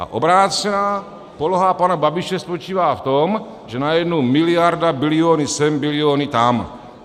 A obrácená poloha pana Babiše spočívá v tom, že najednou miliarda, biliony sem, biliony tam.